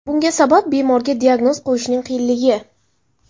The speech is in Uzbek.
Bunga sabab bemorga diagnoz qo‘yishning qiyinligi.